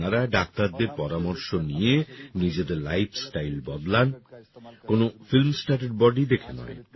আপনারা ডাক্তারদের পরামর্শ নিয়ে নিজেদের লাইফস্টাইল বদলান কোন ফিল্মস্টারের বডি দেখে নয়